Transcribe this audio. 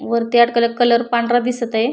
वरती अडकवलेला कलर पांढरा दिसतए.